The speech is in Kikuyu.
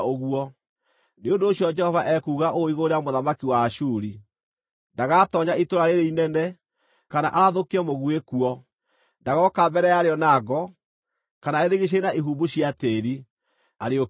“Nĩ ũndũ ũcio Jehova ekuuga ũũ igũrũ rĩa mũthamaki wa Ashuri: “Ndagatoonya itũũra rĩĩrĩ inene, kana arathũkie mũguĩ kuo. Ndagooka mbere ya rĩo na ngo, kana arĩrigiicĩrie na ihumbu cia tĩĩri, arĩũkĩrĩre.